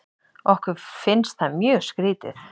Okkur finnst það mjög skrítið.